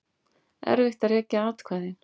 Erfitt að rekja atkvæðin